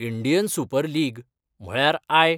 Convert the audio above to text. Indian Super League म्हळयार I.